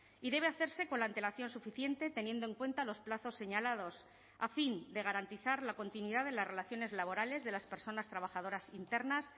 y debe hacerse con la antelación suficiente teniendo en cuenta los plazos señalados a fin de garantizar la continuidad de las relaciones laborales de las personas trabajadoras internas